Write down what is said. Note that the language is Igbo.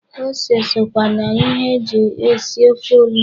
Ose sokwa na ihe e ji esi ofe onugbu.